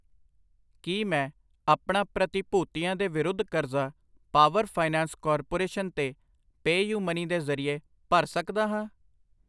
ਕਿ ਮੈਂ ਆਪਣਾ ਪ੍ਰਤੀਭੂਤੀਆਂ ਦੇ ਵਿਰੁੱਧ ਕਰਜ਼ਾ ਪਾਵਰ ਫਾਈਨੈਂਸ ਕਾਰਪੋਰੇਸ਼ਨ ਤੇ ਪੈਯੁਮਨੀ ਦੇ ਜਰਿਏ ਭਰ ਸਕਦਾ ਹਾਂ ?